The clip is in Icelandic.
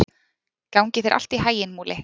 Gangi þér allt í haginn, Múli.